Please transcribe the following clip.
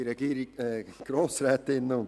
Die Regierung lehnt die Motion ab.